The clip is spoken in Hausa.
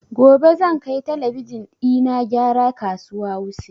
Gobe zan kai talabijin ina gyara a kasuwa wuse